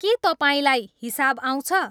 के तपाईँलाई हिसाब आउँछ